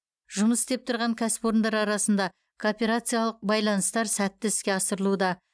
жұмыс істеп тұрған кәсіпорындар арасында кооперациялық байланыстар сәтті іске асырылуда